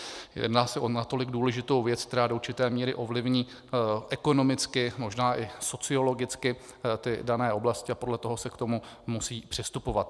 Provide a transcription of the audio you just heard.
Jedná se o natolik důležitou věc, která do určité míry ovlivní ekonomicky, možná i sociologicky ty dané oblasti, a podle toho se k tomu musí přistupovat.